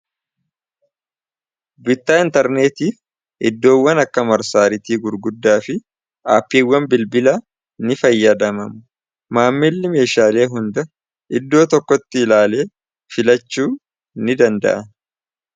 bittaa intarneetiif iddoowwan akka marsaaritii gurguddaa fi aaphiiwwan bilbila ni fayyadamamu maammilli meeshaalee hunda iddoo tokkotti ilaalee filachuu ni danda'a